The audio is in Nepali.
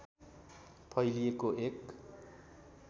फैलिएको एक